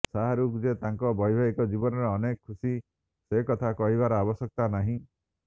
ଶାହାରୁଖ ଯେ ତାଙ୍କ ବୈବାହିକ ଜୀବନରେ ଅନେକ ଖୁସି ସେକଥା କହିବାର ଆବଶ୍ୟକତା ନାହିଁ